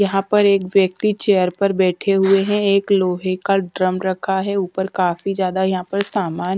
यहां पर एक व्यक्ति चेयर पर बैठे हुए हैं एक लोहे का ड्रम रखा है ऊपर काफी ज्यादा यहां पर सामान--